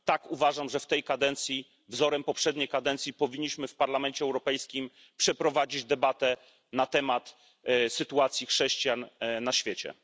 Tak, uważam, że w tej kadencji, wzorem poprzedniej kadencji, powinniśmy w Parlamencie Europejskim przeprowadzić debatę na temat sytuacji chrześcijan na świecie.